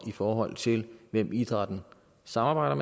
i forhold til hvem idrætten samarbejder